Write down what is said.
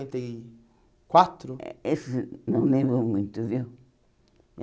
e quatro Eh esse não lembro muito, viu?